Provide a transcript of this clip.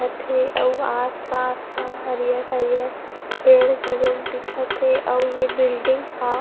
दिखत थे अउ आस- पास म हरियर- हरियर पेड़ घलोक दिखत हे अउ ये बिल्डिंग ह --